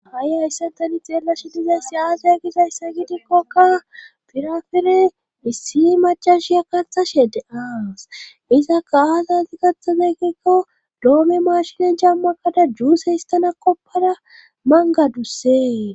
Hai hayssa tani xeellashi dizayssi aaza gizayssa gidikkokka firafile issi macashiya katha shede-aas izaka aazaati gaxazegikko doome maashinen jammakada juusheystana koppada mangadussee.